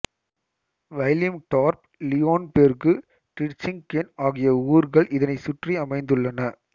வைலிம்டார்ப் Leonberg Ditzingen ஆகிய ஊர்கள் இதனைச் சுற்றி அமைந்துள்ளன